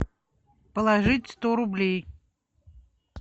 положить сто рублей